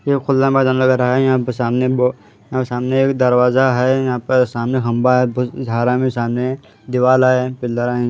यह खुला मैदान लग रहा है यहां ब सामने ब यहां सामने एक दरवाजा है यहां पर सामने खंबा है है सामने दीवाल है पिलर है।